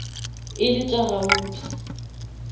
e le tša gauta